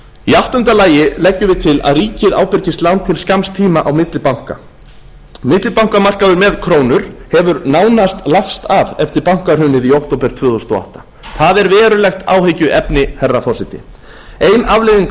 í áttunda lagi leggjum við til að ríkið ábyrgist lán til skamms tíma á milli banka millibankamarkaður með krónur hefur nánast lagst af eftir bankahrunið í október tvö þúsund og átta það er verulegt áhyggjuefni herra forseti ein afleiðing